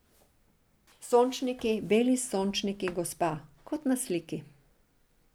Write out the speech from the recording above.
Sončniki, beli sončniki gospa, kot na sliki.